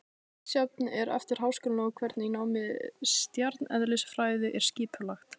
Misjafnt er eftir háskólum hvernig nám í stjarneðlisfræði er skipulagt.